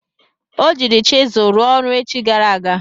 O jiiri chizụl ruo ọrụ echi gara aga.